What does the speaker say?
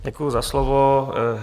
Děkuji za slovo.